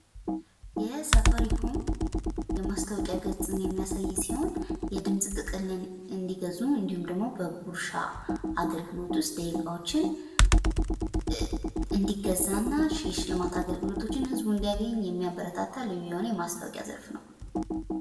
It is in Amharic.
ይሄ የሳፋሪኮምን የማስታወቂያ ገጽን የሚያሳይ ሲሆን የድምጽ ጥቅልን እንዲገዙ እንዲሁም ደግሞ በጉርሻ አገልግሎት ዉስጥ ደቂቃዎችን እንድገዛ እና የሽልማት አገልግሎቶችን ህዝቡ ኢንዲያገኝ የሚያበረታታ የሆነ የምስታዎቂያ ዘርፍ ነው።